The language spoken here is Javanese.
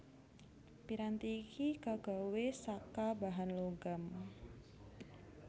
Piranti iki kagawé saka bahan logam